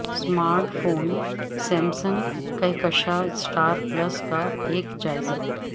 smart phone Samsung کہکشاں star plus کا ایک جائزہ